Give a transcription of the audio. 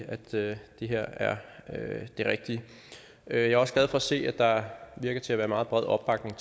at det her er det rigtige jeg er også glad for at se at der virker til at være meget bred opbakning